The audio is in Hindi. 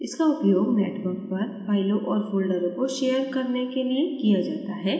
इसका उपयोग network पर फ़ाइलों और folders को शेयर करने के लिए किया जाता है